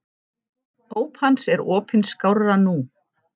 Óp hans er opin skárra nú.